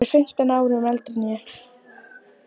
Hún er fimmtán árum eldri en ég.